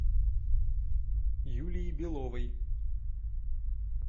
юлии беловой